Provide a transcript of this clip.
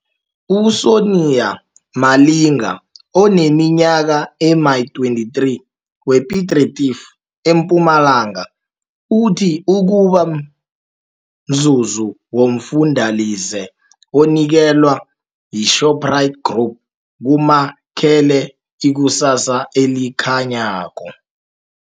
U-Sonia Malinga, oneminyaka ema-23, we-Piet Retief eMpumalanga uthi ukuba mzuzi womfundalize onikelwa yiShoprite Group kumakhele ikusasa elikha nyako.